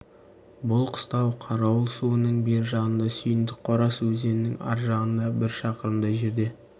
бұл қыстау қарауыл суының бер жағында сүйіндік қорасы өзеннің ар жағында бір шақырымдай жерде